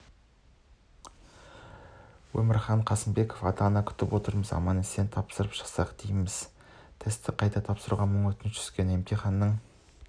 өмірхан қасымбеков ата-ана күтіп отырмыз аман-есен тапсырып шықса дейміз тестті қайта тапсыруға мың өтініш түскен емтиханның